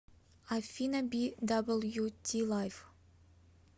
афина би дабл ю ти лайф